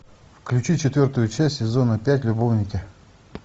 включи четвертую часть сезона пять любовники